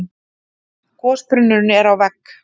Gosbrunnurinn er á vegg